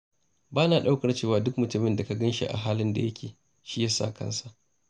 Ba na ɗaukar cewa duk mutumin da ka gan shi a halin da yake shi ya saka kansa.